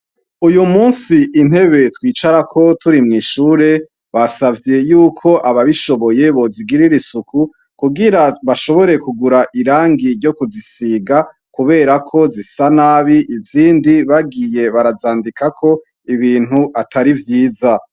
Uyumusi intebe twicarako turi mwishure twasavye yuko ababishoboye bozigirira isuku kugira bashobore kugura irangi ryokuzisiga kuberako zisa nabi izindi bagiye barazandikako ibintu atari vyiza